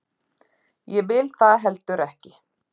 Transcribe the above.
Ég vil það heldur ekki.